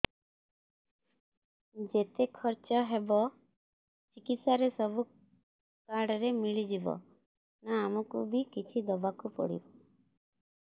ଯେତେ ଖର୍ଚ ହେବ ଚିକିତ୍ସା ରେ ସବୁ କାର୍ଡ ରେ ମିଳିଯିବ ନା ଆମକୁ ବି କିଛି ଦବାକୁ ପଡିବ